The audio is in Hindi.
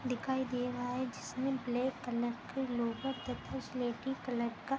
दिखाई दे रहा है जिसमें ब्लैक कलर के स्लेटी कलर का --